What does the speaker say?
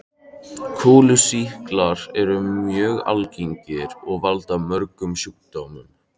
Kúlusýklar eru mjög algengir og valda mörgum sjúkdómum.